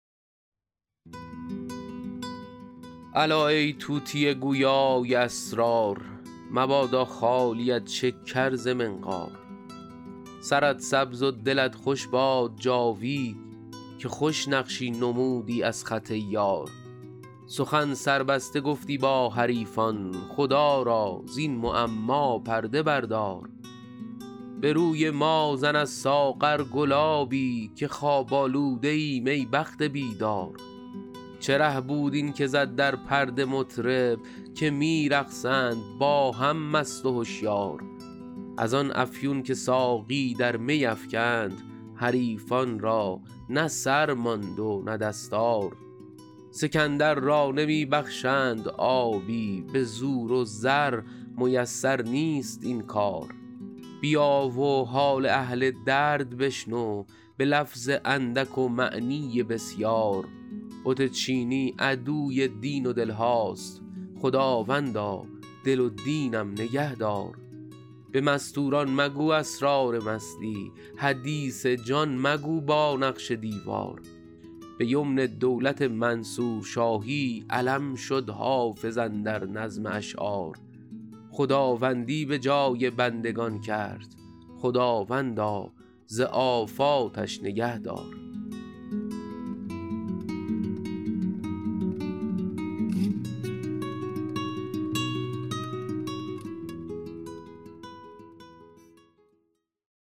الا ای طوطی گویا ی اسرار مبادا خالیت شکر ز منقار سرت سبز و دلت خوش باد جاوید که خوش نقشی نمودی از خط یار سخن سربسته گفتی با حریفان خدا را زین معما پرده بردار به روی ما زن از ساغر گلابی که خواب آلوده ایم ای بخت بیدار چه ره بود این که زد در پرده مطرب که می رقصند با هم مست و هشیار از آن افیون که ساقی در می افکند حریفان را نه سر ماند نه دستار سکندر را نمی بخشند آبی به زور و زر میسر نیست این کار بیا و حال اهل درد بشنو به لفظ اندک و معنی بسیار بت چینی عدوی دین و دل هاست خداوندا دل و دینم نگه دار به مستور ان مگو اسرار مستی حدیث جان مگو با نقش دیوار به یمن دولت منصور شاهی علم شد حافظ اندر نظم اشعار خداوندی به جای بندگان کرد خداوندا ز آفاتش نگه دار